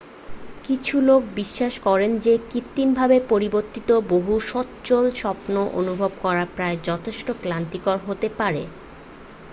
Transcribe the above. কিছু লোকে বিশ্বাস করেন যে কৃত্রিমভাবে প্রবর্তিত বহু স্বচ্ছ স্বপ্ন অনুভব করা প্রায়ই যথেষ্ট ক্লান্তিকর হতে পারে